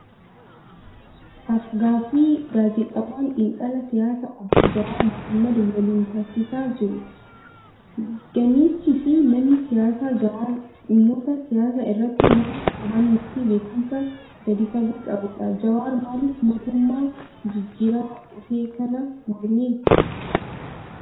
Af-gaaffii gaazexeessaan xiinxalaa siyaasaa Obbo Jawaar Mohaammad waliin taasisaa jiru. Gameessii fi namni siyaasaa Jawaar dhimmoota siyaasaa irratti nama hubannoo fi beekumsa gadi fagoo qabudha. Jawaar maaliif mootummaa jijjiiramaa dhufe kana morme?